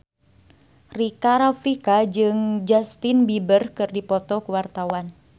Rika Rafika jeung Justin Beiber keur dipoto ku wartawan